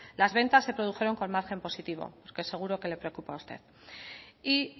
las ventas se produjeron con margen positivo que seguro que le preocupa a usted y